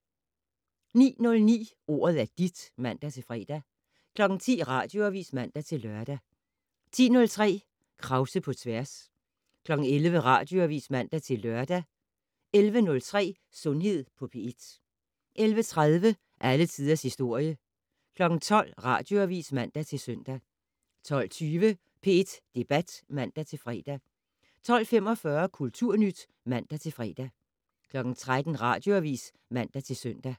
09:09: Ordet er dit (man-fre) 10:00: Radioavis (man-lør) 10:03: Krause på tværs 11:00: Radioavis (man-lør) 11:03: Sundhed på P1 11:30: Alle tiders historie 12:00: Radioavis (man-søn) 12:20: P1 Debat (man-fre) 12:45: Kulturnyt (man-fre) 13:00: Radioavis (man-søn)